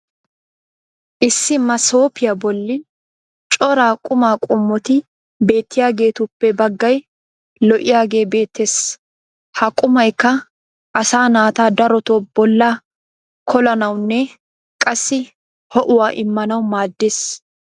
issi masooppiya boli cora qumaa qommoti beettiyaageetuppe bagay lo'iyaagee beetees. ha qumaykka asaa naata darotoo bolaa koollanawunne qassi ho'uwa immanawu maadees.